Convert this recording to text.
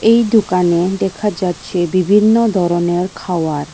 এই দোকানে দেখা যাচ্ছে বিভিন্ন ধরনের খাওয়ার।